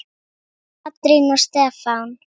Katrín og Stefán.